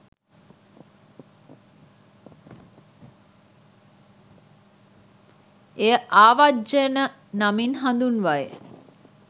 එය ආවජ්ජන නමින් හඳුන්වයි